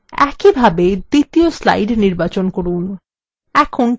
একইভাবে দ্বিতীয় slide নির্বাচন করুন